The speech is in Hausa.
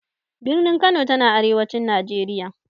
Birnin Kano ta na arewacin Najeriya.